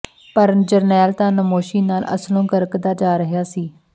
ਪਰ ਜਰਨੈਲ ਤਾਂ ਨਮੋਸ਼ੀ ਨਾਲ ਅਸਲੋਂ ਗਰਕਦਾ ਜਾ ਰਿਹਾ ਸੀ